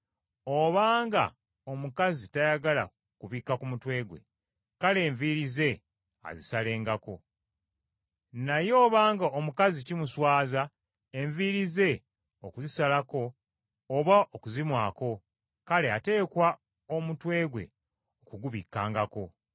Obanga omukazi tayagala kubikka ku mutwe gwe, kale enviiri ze azisalengako. Naye obanga omukazi kimuswaza enviiri ze okuzisalako oba okuzimwako, kale ateekwa omutwe gwe okugubikkangako.